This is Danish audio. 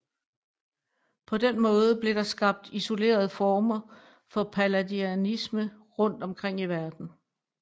På den måde blev der skabt isolerede former for palladianisme rundt omkring i verden